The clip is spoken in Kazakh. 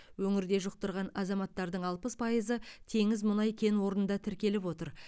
өңірде жұқтырған азаматтардың алпыс пайызы теңіз мұнай кен орнында тіркеліп отыр